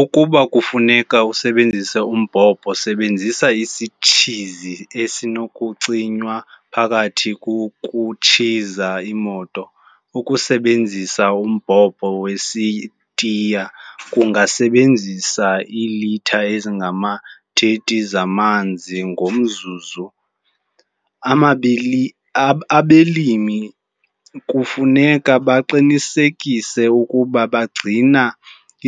Ukuba kufuneka usebenzise umbhobho, sebenzisa isitshizi esinokucinywa phakathi kokutshiza imoto. Ukusebenzisa umbhobho wesitiya kungasebenzisa iilitha ezingama-30 zamanzi ngomzuzu. Abalimi kufuneka baqinisekise ukuba bagcina